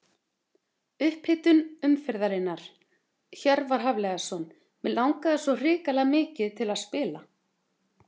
Upphitun umferðarinnar: Hjörvar Hafliðason Mig langaði svo hrikalega mikið til að spila.